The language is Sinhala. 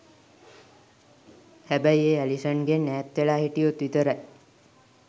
හැබැයි ඒ ඇලිසන්ගෙන් ඈත් වෙලා හිටියොත් විතරයි.